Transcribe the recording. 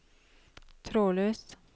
trådløs